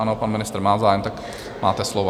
Ano, pan ministr má zájem, tak máte slovo.